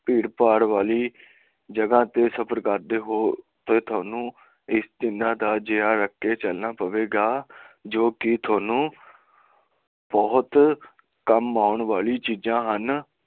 ਭੀੜਭਾੜ ਵਾਲੀ ਜਗਾਹ ਤੇ ਸਫਰ ਕਰਦੇ ਹੋ ਤਾਂ ਥੋਨੂੰ ਇਹ ਤਿੰਨਾ ਦਾ ਜਿਹਾ ਰਖ ਕੇ ਚਲਣਾ ਪਵੇਗਾ ਜੋ ਥੋਨੂੰ ਬਹੁਤ ਹੀਂ ਕੰਮ ਆਉਣ ਵਾਲੀ ਚੀਜਾਂ ਹਨ